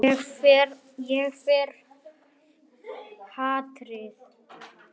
Ég fel hatrið.